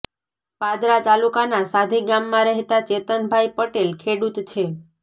પાદરા તાલુકાના સાધી ગામમાં રહેતાં ચેતનભાઈ પટેલ ખેડૂત છે